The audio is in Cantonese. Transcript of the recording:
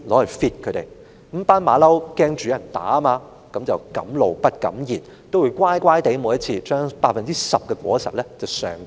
由於這群猴子怕被人打，一向敢怒而不敢言，每次也會乖乖地把十分之一的果實上繳。